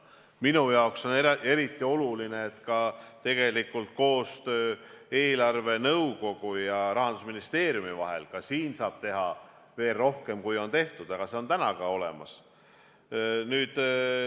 Minu jaoks on eriti oluline, et ka eelarvenõukogu ja Rahandusministeeriumi koostöö mõttes saab teha veel rohkem, kui on tehtud, aga see koostöö on olemas.